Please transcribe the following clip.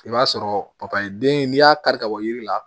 I b'a sɔrɔ papaye den n'i y'a kari ka bɔ yiri la